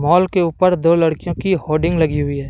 माल के ऊपर दो लड़कियों की होर्डिंग लगी हुई है।